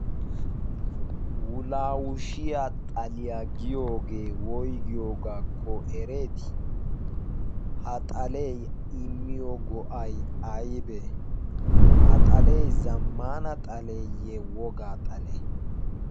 wulaawushiya xaliyaa giyoogee woygiyoogaakko ereeti ha xalee imiyo go'ay aybee ha xalee zammana xaleeyye wogaa xalee